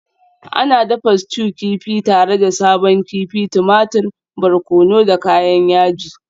Ana dafa stew kifi tare da sabon kifi, tumatir, barkono da kayan yaji.